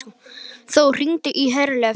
Þór, hringdu í Herleif.